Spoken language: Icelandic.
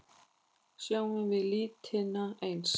Sjáum við litina eins?